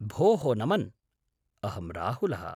भोः नमन्! अहं राहुलः।